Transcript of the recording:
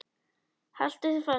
Haltu þér fast.